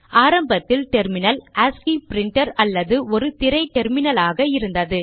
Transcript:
ஆரம்பத்தில் terminal ASCII printer அல்லது ஒரு திரை டெர்மினலாக இருந்தது